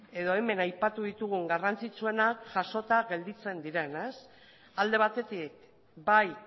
edo hemen aipatu ditugun garrantzitsuenak jasota gelditzen diren alde batetik bai